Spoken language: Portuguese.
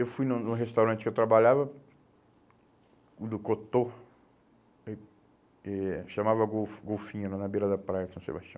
Eu fui num num restaurante que eu trabalhava, o do Cotô, eh eh chamava Gol Golfinho, né na beira da praia de São Sebastião.